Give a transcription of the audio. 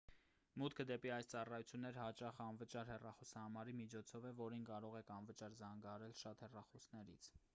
մուտքը դեպի այս ծառայություններ հաճախ անվճար հեռախոսահամարի միջոցով է որին կարող են անվճար զանգահարել շատ հեռախոսներից